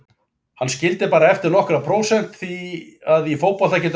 Hann skildi bara eftir nokkur prósent því að í fótbolta getur allt gerst.